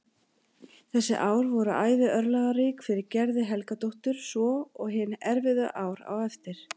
Þessi ár voru æði örlagarík fyrir Gerði Helgadóttur svo og hin erfiðu ár á eftir.